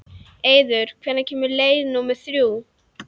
Eiður, hvenær kemur leið númer þrjú?